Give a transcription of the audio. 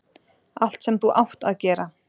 Allt sem þú ÁTT að gera